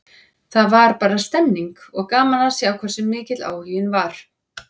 Það var bara stemmning, og gaman að sjá hversu mikill áhuginn var.